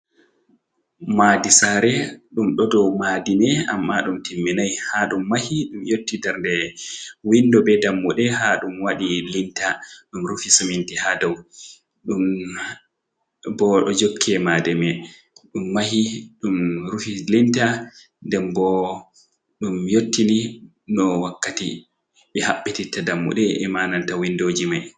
Maadi saare ɗum ɗo dou maadi me, amma ɗum timminai ha ɗum mahi ɗum yotti dernde windo be dammuɗe ha ɗum wadi linta, ɗum rufi suminti haa dou bo jokke maadi mai ɗum mahi, ɗum rufi linta nden bo ɗum yottini no wakkati ɓe haɓɓititta dammude ema nanta windoji mai.